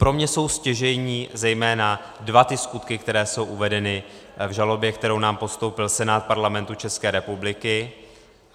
Pro mě jsou stěžejní zejména dva ty skutky, které jsou uvedeny v žalobě, kterou nám postoupil Senát Parlamentu České republiky.